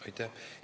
Aitäh!